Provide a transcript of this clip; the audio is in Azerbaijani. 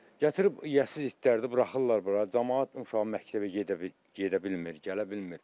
Gətirib yəsiz itləri də buraxırlar bura, camaat uşağı məktəbə gedə bilmir, gələ bilmir.